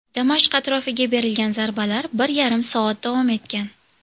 Damashq atrofiga berilgan zarbalar bir yarim soat davom etgan.